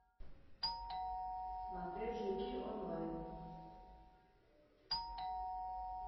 смотреть жуки онлайн